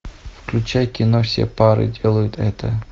включай кино все пары делают это